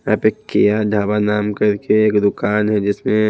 यहां पे केहा ढाबा नाम करके एक दुकान है जिसमें--